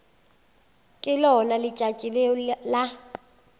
ke lona letšatši leo la